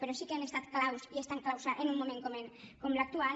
però sí que han estat clau i són clau en un moment com l’actual